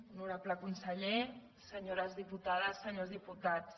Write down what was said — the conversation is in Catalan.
honorable conseller senyores diputades senyors diputats